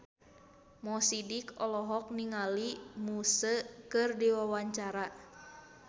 Mo Sidik olohok ningali Muse keur diwawancara